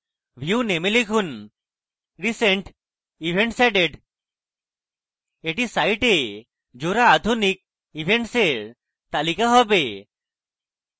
view name a লিখুন recent events added এটি site জোড়া আধুনিক events in তালিকা হবে